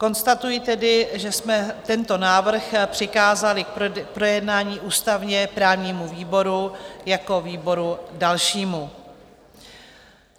Konstatuji tedy, že jsme tento návrh přikázali k projednání ústavně-právnímu výboru jako výboru dalšímu.